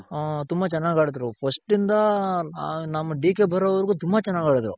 ಹ ತುಂಬ ಚೆನಾಗ್ ಆಡಿದ್ರು first ಇಂದ ನಮ್ DK ಬರೋ ವರ್ಗು ತುಂಬ ಚೆನಾಗ್ ಆಡಿದ್ರು.